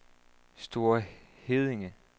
Store Heddinge